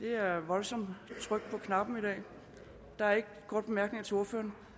er et voldsomt tryk på knapperne i dag der er ikke korte bemærkninger til ordføreren